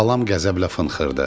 Xalam qəzəblə fınxırdı.